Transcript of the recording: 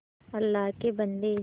अल्लाह के बन्दे